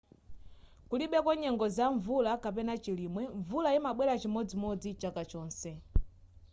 kulibeko nyengo za mvula kapena chilimwe mvula imabwela chimodzimodzi chaka chonse